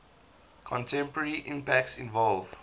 contemporary impacts involve